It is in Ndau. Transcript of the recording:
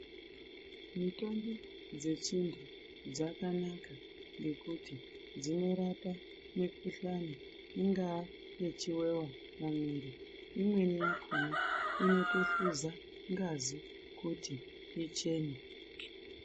Mitombo dzechindau dzakanaka ngekuti dzinorape mikhuhlane ingava yechivanhu mumwiri .Imweni yakhona inotohluza ngazi kuti ichene